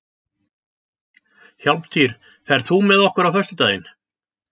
Hjálmtýr, ferð þú með okkur á föstudaginn?